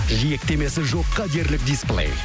жиектемесі жоққа дерлік дисплей